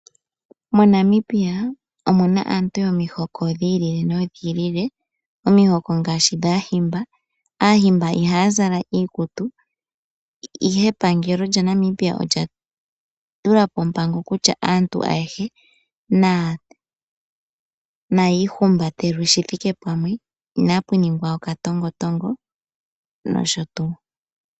MoNamibia omuna aantu yomihoko dhi ili nodhi ili. Omihoko ngaashi dhAahimba. Aahimba ihaya zala iikutu, ihe epangelo lyaNamibia olya tula po ompango kutya aantu ayehe nayi ihumbatelwe shi thike pamwe inapu ningwa okatongotongo nosho tuu.